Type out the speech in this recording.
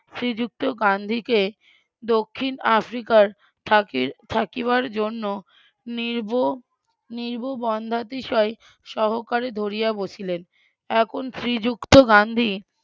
শ্রীযুক্ত গান্ধিকে দক্ষিন আফ্রিকার থাকি থাকিবার জন্য সহকারে ধরিয়া বসিলেন এখন শ্রীযুক্ত গান্ধী